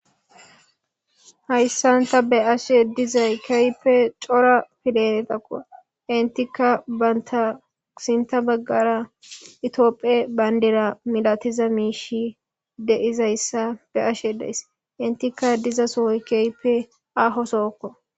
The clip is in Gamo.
Hayissan taa be'ashshe dizayi kehippe cora deretakko.enittkka banita sintta bagara Ethiopia baniddira milatiza mishshi de'izayissa be'ashshe dayis .inttikka diza soyi kehippe ahoo Soo.